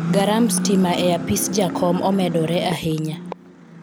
garamb stima e apis jakom omedore ahinya